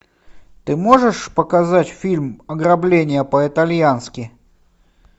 ты можешь показать фильм ограбление по итальянски